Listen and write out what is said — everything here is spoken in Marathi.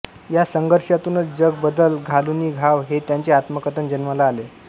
या संघर्षातूनच जग बदल घालुनि घाव हे त्यांचे आत्मकथन जन्माला आले